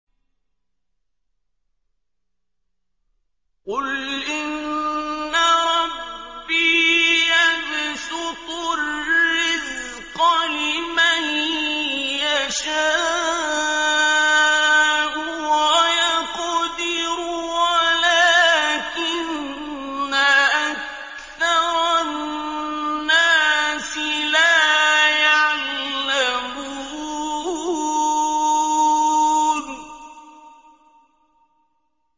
قُلْ إِنَّ رَبِّي يَبْسُطُ الرِّزْقَ لِمَن يَشَاءُ وَيَقْدِرُ وَلَٰكِنَّ أَكْثَرَ النَّاسِ لَا يَعْلَمُونَ